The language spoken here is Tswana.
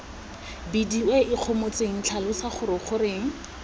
bidiwe ikgomotseng tlhalosa gore goreng